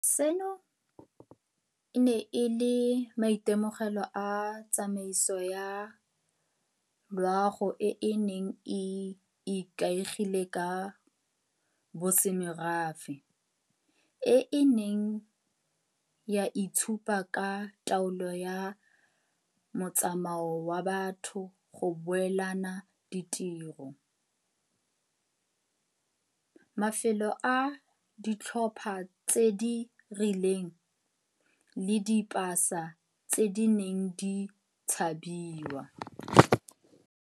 Seno e ne e le maitemogelo a tsamaiso ya loago e e neng e ikaegile ka bosemorafe, e e neng ya itshupa ka taolo ya motsamao wa batho, go beelana ditiro, mafelo a ditlhopha tse di rileng, le dipasa tse di neng di tshabiwa.